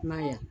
I man ye wa